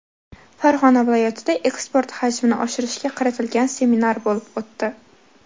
Farg‘ona viloyatida eksport xajmini oshirishga qaratilgan seminar bo‘lib o‘tdi.